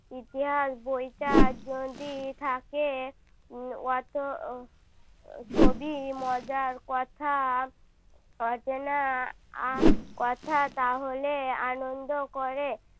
ইতিহাস বইটা যদি থাকে অত ছবি মজার কথা অজানা আহ কথা তাহলে আনন্দ করে